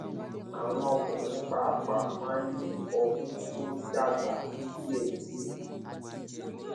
àwọn ọkùnrin pàápàá máa ń ní ọmú tó ń dàgbà díẹdíẹ